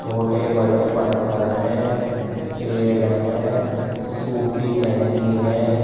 छोटे बड़े पत्थर हैं पेड़ है सुखी टहनी है।